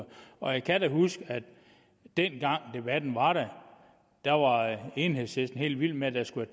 og jeg kan huske at dengang debatten var der var enhedslisten helt vild med at der skulle